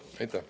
Aitäh!